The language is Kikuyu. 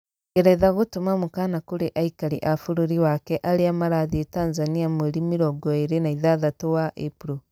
Ngeretha gũtũma mũkaana kũrĩ aikari a bũrũri wake arĩa marathiĩ Tanzania mweri 26 wa Ĩpuro.